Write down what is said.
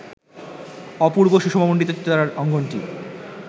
অপূর্ব সুষমামণ্ডিত চিত্রধারার অঙ্গনটি